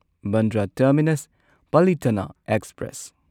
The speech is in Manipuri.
Bandra terminus Palitana express